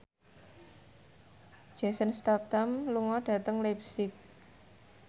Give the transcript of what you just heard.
Jason Statham lunga dhateng leipzig